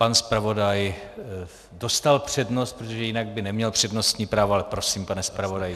Pan zpravodaj dostal přednost, protože jinak by neměl přednostní právo, ale prosím, pane zpravodaji.